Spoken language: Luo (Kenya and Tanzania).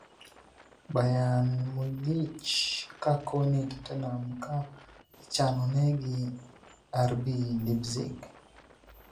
Bayern Munich Ka koni Tottenham Ka ichanonegi RB Leipzig